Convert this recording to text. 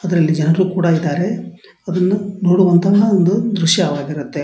ಅದರಲ್ಲಿ ಜನರು ಕೂಡ ಇದ್ದಾರೆ ಅದನ್ನು ನೋಡುವಂತಹ ದ್ರಶ್ಯವಾಗಿರುತ್ತೆ.